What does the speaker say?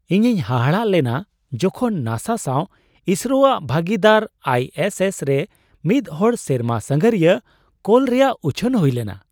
ᱤᱧᱤᱧ ᱦᱟᱦᱟᱲᱟᱜ ᱞᱮᱱᱟ ᱡᱚᱠᱷᱚᱡ ᱱᱟᱥᱟ ᱥᱟᱣ ᱤᱥᱨᱳᱼᱟᱜ ᱵᱷᱟᱹᱜᱤᱫᱟᱨ ᱟᱭ ᱮᱥ ᱮᱥᱼᱨᱮ ᱢᱤᱫ ᱦᱚᱲ ᱥᱮᱨᱢᱟ ᱥᱟᱸᱜᱷᱟᱹᱨᱤᱭᱟᱹ ᱠᱳᱞ ᱨᱮᱭᱟᱜ ᱩᱪᱷᱟᱹᱱ ᱦᱩᱭᱞᱮᱱᱟ !